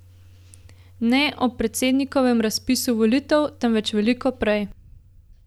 Ne ob predsednikovem razpisu volitev, temveč veliko prej.